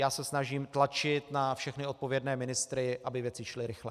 Já se snažím tlačit na všechny odpovědné ministry, aby věci šly rychle.